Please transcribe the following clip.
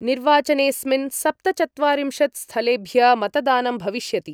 निर्वाचनेस्मिन् सप्तचत्वारिंशत् स्थलेभ्य मतदानं भविष्यति।